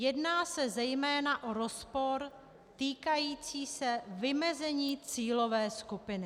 Jedná se zejména o rozpor týkající se vymezení cílové skupiny.